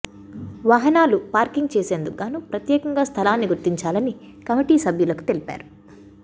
వాహనాలు పార్కింగ్ చేసేందుకుగాను ప్రత్యేకంగా స్థలాన్ని గుర్తించాలని కమిటీ సభ్యులకు తెలిపారు